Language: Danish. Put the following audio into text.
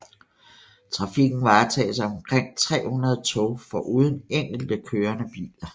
Trafikken varetages af omkring 300 tog foruden enkelte kørende biler